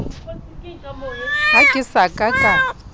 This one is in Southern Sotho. ha ke sa ka ka